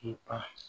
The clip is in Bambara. K'i ka